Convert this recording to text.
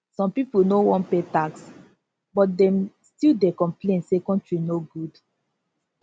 some people no wan pay tax but dem still dey complain say country no good